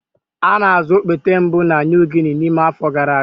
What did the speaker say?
A na-azụ okpete mbụ na New Guinea n'ime afọ gara aga.